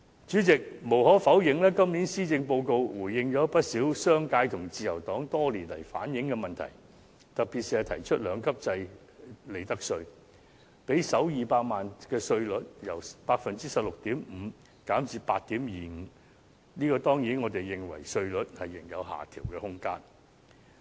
主席，無可否認，今年的施政報告回應了不少商界和自由黨多年來反映的問題，特別是提出兩級制利得稅，讓首200萬元利潤的利得稅稅率由 16.5% 減至 8.25%， 但我們當然認為稅率仍有下調空間。